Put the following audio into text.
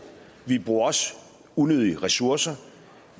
vi bruger også unødige ressourcer